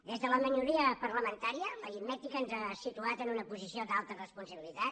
des de la minoria parlamentària l’aritmètica ens ha situat en una posició d’alta responsabilitat